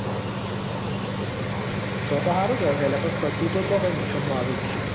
તો તો સારું કેવાય લ્યા તું તો કયો નુકસાન માં આવે જ છી.